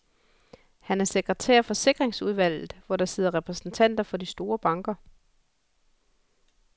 Han er sekretær for sikringsudvalget, hvor der sidder repræsentanter for de store banker.